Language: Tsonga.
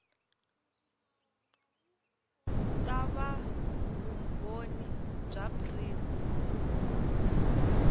ta va vumbhoni bya prima